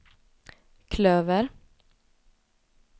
klöver